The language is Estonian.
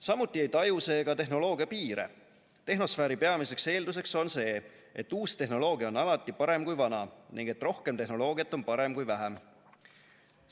Samuti ei taju see tehnoloogia piire – tehnosfääri peamiseks eelduseks on see, et uus tehnoloogia on alati parem kui vana ning et rohkem tehnoloogiat on parem kui vähem.